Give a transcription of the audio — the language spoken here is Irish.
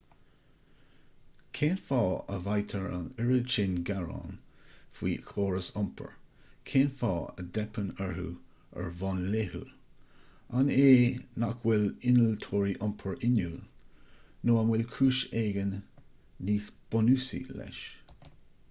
cén fáth a bhfaightear an oiread sin gearán faoi chórais iompair cén fáth a dteipeann orthu ar bhonn laethúil an é nach bhfuil innealtóirí iompair inniúil nó an bhfuil cúis éigin níos bunúsaí leis